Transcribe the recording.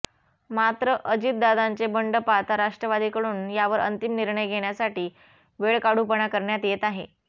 मात्र अजितदादांचे बंड पाहता राष्ट्रवादीकडून यावर अंतिम निर्णय घेण्यासाठी वेळकाढूपणा करण्यात येत आहे